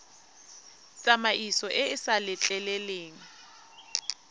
tsamaiso e e sa letleleleng